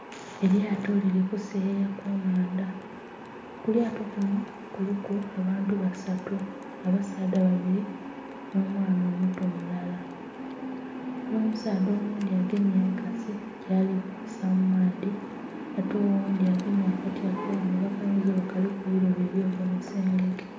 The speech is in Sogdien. Elyato lili kuseyeya ku nnhandha. Ku lyato kunho kuliku abantu basatu abasaadha babili nh'omwana omuto mulala. Ela omusaadha oghundhi agemye enkasi gyali kubisa mu maadhi ate oghundhi agemye akati akaghanvu akayinza oba nga kalimu eilobo ely'ogemesa engege.